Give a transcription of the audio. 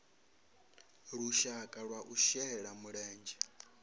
lushaka lwa u shela mulenzhe